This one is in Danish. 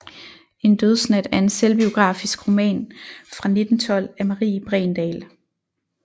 En Dødsnat er en selvbiografisk roman fra 1912 af Marie Bregendahl